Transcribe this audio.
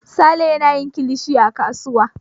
Sale yana yin kilishi a kasuwa.